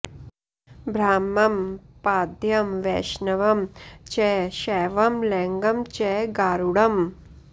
ब्राह्मं पाद्मं वैष्णवं च शैवं लैङ्गं च गारुडम्